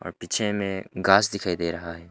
पीछे में घास दिखाई दे रहा है।